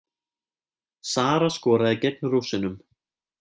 Sara skoraði gegn Rússunum